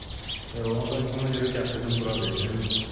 Ona görə gətirdim bura verdim.